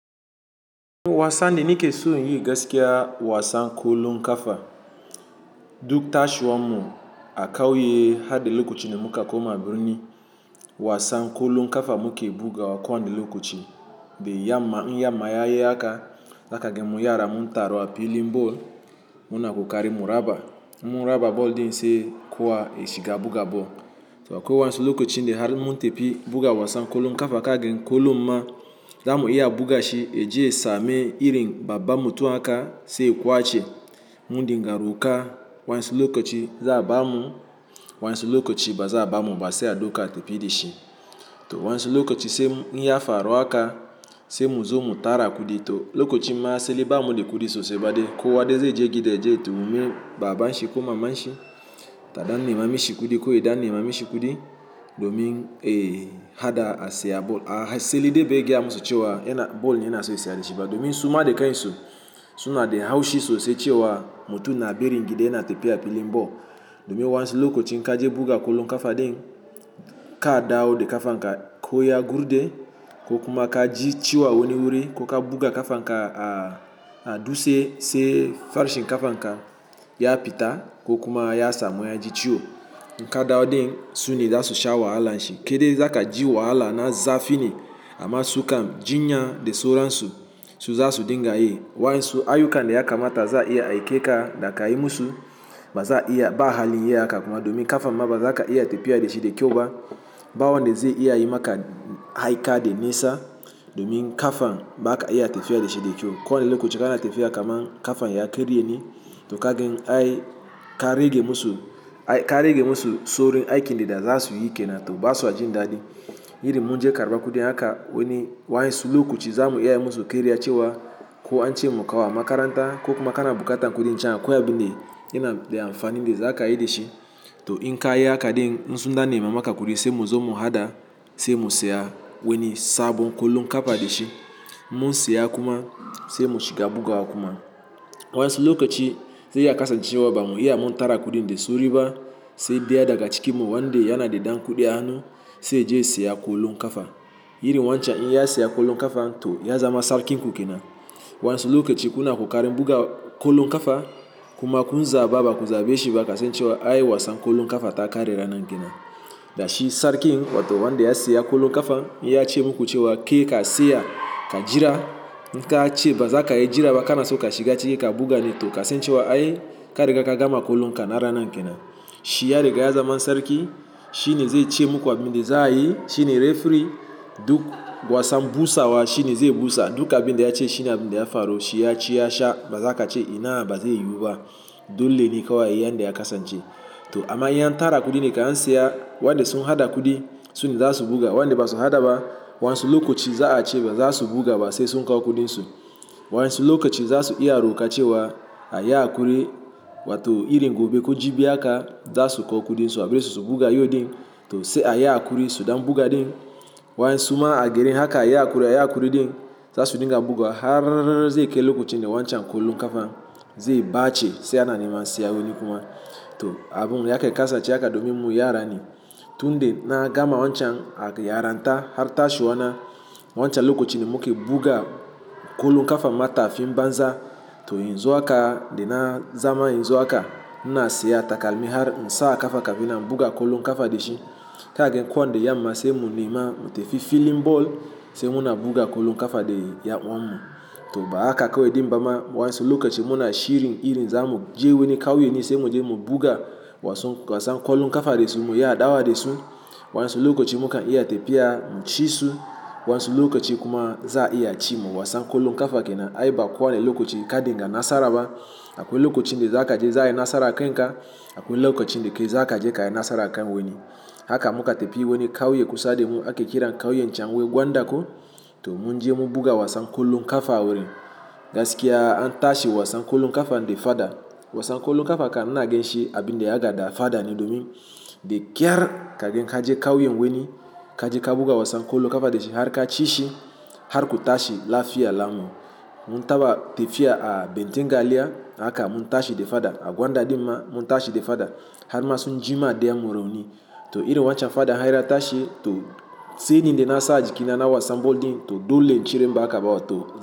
Wasan de nike so inyi gaskiya wasan kwallon kafa. Duk tashiwa mu a kauye hadda lokaci da muka koma birni. Wasan kwallon kafa muke bugaw kowani lokaci. Da yamma, in yamma yayi haka, zaka ga mu yara mun taru a filin ball. Muna kokari mu raba, in mun raba ball din sai kowa ya shiga buga ball. To kwai wasu lokacin da har mun tafi buga wasan kwallon kafa, gagan kwallon ma zamu iya bugashi. Eje ya same irin babba mutum haka sai ya kwace mundinga roka wani lokaci za a bamu, wani lokaci ba za a bamu ba sai a dauka a tafi dashi. To wani lokaci sai inya faru haka sai mu zo mu tara kudi to lokacin ma asali bamu da kudi sosai ba de kowa de zai je gida yaje ya tambayi baban shi ko maman shi ta dan nemami shi kudi ko ya dan nema mishi kudi domin eh hada a siya ball. Asalidee bare gaya musu cewa yana ball ne yana so ya siya da shi ba domin suma da kan su suna da haushi sosai cewa mutum na barin gida yana tafiya filin ball. Domin wani lokaci ka je buga kwallon kafa din ka dawo da kafan ka ko ya gurde ko kuma ka ji ciwo a wani wuri ko ka buga kafanka a a dutse sai farshen kafanka ya fita ko kuma ya samu ya ji ciwo. Inka dawo din suna za su sha wahalan shi. Kai de zaka ji wahala na zafi ne amma su kam jinya da sauran su, su za su dinga yi. Wayan su ayukan da ya kamata za a iya a aike ka da kai musu ba za a iya ba hali yin haka kuma domin kafan ma ba za ka iya tafiya da shi da kyau ba. Ba wanda zai iya yi maka aika da nisa domin kafan ba ka iya tafiya da shi da kyau. Kowani lokaci kana tafiya kaman kafan ya karye ne to ka gan ai karege musu ai karege musu sorin aikin da za su yi kenan to ba su aji da dadi. Irin munje karba kudi haka wani wayansu lokaci zamu iya yi musu karya cewa ko an ce mukawo a makaranta ko kuma kana bukata kudin jamb. Ko a bin da yana da amfanin da zaka yi da shi. To in ka yi haka din, in su dan nema maka kudi sai mu zo mu hada sai mu siya wani sabon kwallon kafa da shi. Mun siya kuma sai mu shiga bugawa kuma. Wani lokaci zai iya kasancewa ba mu iya mun tara kudin da sauriba sai daya daga cikin mu wanda yana da dan kudi a hanu sai yaje ya siya kwallon kafa. Irin wancan in ya siya kwallon kafa to ya zama sarkin kukenan. Wani lokaci kuna kokari buga kwallon kafa kuma kun zaɓa ba ku zaɓe shi ba kasancewa ai wasan kwallon kafa ta kare ranar kenan. Da shi sarkin wato wanda ya siya kwallon kafa, in ya ce muku cewa ke ka siya ka jira. Inka a ce ba za ka iya jira ba kana so ka shiga ciki ka buga ne to kasancewa ai ka riga ka gama kwallon ka na ranan kenan. Shi ya riga ya zama sarki. Shi ne zai ce muku abin da za a yi. Shi ne referee duk wasan busawa shi ne zai busa duk abin da ya ce shi ne abin da ya faru. Shi ya ci ya sha ba za ka ce ina ba zai yu ba dole ne kawai a yi yan da ya kasance. To amma in an tara kudi ne kan an siya wanda sun haɗa kudi sune za su buga wanda ba su haɗa ba wani lokaci za a ce ba za su buga ba sai sun kawo kudin su. Wani lokaci za su iya roƙa cewa a yi hakuri wato irin gobe ko jibi haka za su kawo kudin su abarsu su buga yau din to sai a yi hakuri su dan buga din. Wayan suma a gerin haka a yi hakuri a yi hakuri din za su dinga buga har zai kai lokacin da wancan kwallon kafa zai bace sai ana neman siya wani kuma. To abun yake kasance haka domin mu yara ne. Tun da na gama wancan a yaranta har tashiwa na wancan lokaci ne muka buga kwallon kafa mata fi banza. To in zo haka de na zama in zo haka ina siya takalmi har insa a kafa kafin na buga kwallon kafa da shi. Zaka ga ko wani yamma sai mu nema mu tafi filin ball sai muna buga kwallon kafa da yan uwanmu. To ba haka kawai din bama wani lokaci muna shirin irin za mu je wani kauye ne sai mu je mu buga wasan kwallon kafa da su mu yi adawa da su. Wani lokaci muka iya tafiya mu ci su wani lokaci kuma za a iya ci mu wasan kwallon kafa kenan. Ai ba kowani lokaci ka dinga nasara ba. Akwai lokacin da za ka je za a yi nasara a kanka akwai lokacin da kai za ka je ka yi nasara a kan wani. Haka muka tafi wani kauye kusa da mu ake kiran kauyen Can Wai Gwanda ko to munje mun buga wasan kwallon kafa wurin. Gaskiya an tashi wasan kwallon kafa da fada. Wasan kwallon kafa kan ina ga shi abin da ya gada fada ne domin da kyar kaga ka je kauyen wani ka je ka buga wasan kwallon kafa da shi har ka ci shi har ku tashi lafiya lamu. Mun taba tafiya a bentin Galiya haka mun tashi de fada a Gwanda din ma mun tashi da fada har ma sun jima dayan mu rauni. To irin wancan fadan har ya tashi to shaidan da na sa jikina na wasan ball din to dole in cire imba haka ba to.